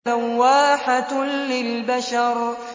لَوَّاحَةٌ لِّلْبَشَرِ